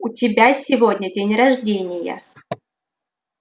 у тебя сегодня день рождения